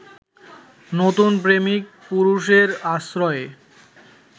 নতুন প্রেমিক-পুরুষের আশ্রয়ে